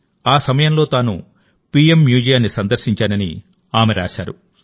ఆ సమయంలో తాను పీఎంమ్యూజియాన్ని సందర్శించానని ఆమె రాశారు